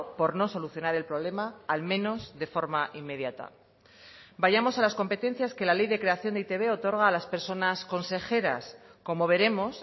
por no solucionar el problema al menos de forma inmediata vayamos a las competencias que la ley de creación de e i te be otorga a las personas consejeras como veremos